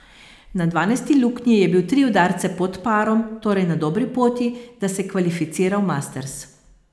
Na dvanajsti luknji je bil tri udarce pod parom, torej na dobri poti, da se kvalificira v Masters.